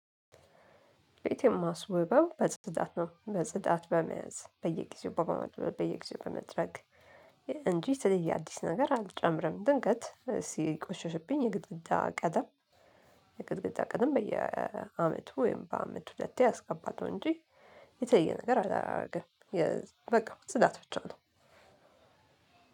ቤቴን ማስውበው በጽዳት ነው በጽዳት በመያዝ በየጊዜው በመወልወል በየጊዜው በመጥረግ እንጂ የተለየ አዲስ ነገር አልጨምርም። ድንገት ሲቆሸሽብኝ የግድግዳ ቀደም የግድግዳ ቀለም በየአመቱ ወይም በአመት ሁለቴ አስቀባለሁ። እንጂ የተለየ ነገር አላረግም የ በቃ ጽዳት ብቻ ነው።